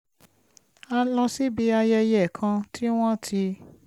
a lọ síbi ayẹyẹ kan tí wọ́n ti